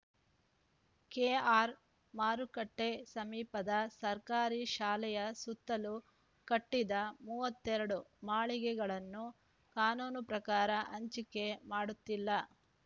K R ಮಾರುಕಟ್ಟೆಸಮೀಪದ ಸರ್ಕಾರಿ ಶಾಲೆಯ ಸುತ್ತಲೂ ಕಟ್ಟಿದ ಮೂವತ್ತೆರಡು ಮಳಿಗೆಗಳನ್ನು ಕಾನೂನು ಪ್ರಕಾರ ಹಂಚಿಕೆ ಮಾಡುತ್ತಿಲ್ಲ